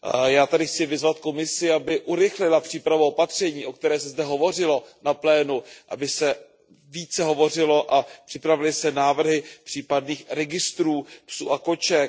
Já tady chci vyzvat Komisi, aby urychlila přípravná opatření, o kterých se zde hovořilo na plénu, aby se více hovořilo a připravily se návrhy případných registrů psů a koček.